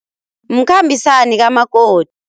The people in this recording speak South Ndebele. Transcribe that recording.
Mkhambisani kamakoti.